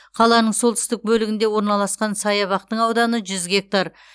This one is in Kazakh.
қаланың солтүстік бөлігінде орналасқан саябақтың ауданы жүз гектар